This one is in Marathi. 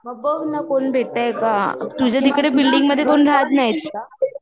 बघ मग कोण भेटतंय का, तुझ्या तिकडे बिल्डिंग मध्ये कोण राहत नाय का ?